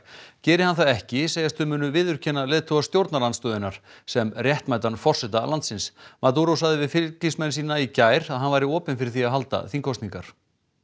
geri hann það ekki segjast þau munu viðurkenna leiðtoga stjórnarandstöðunnar sem réttmætan forseta landsins maduro sagði við fylgismenn sína í gær að hann væri opinn fyrir því að halda þingkosningar